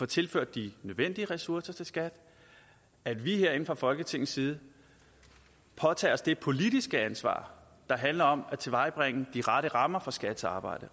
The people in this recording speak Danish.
tilført de nødvendige ressourcer til skat og at vi her fra folketingets side påtager os det politiske ansvar der handler om at tilvejebringe de rette rammer for skats arbejde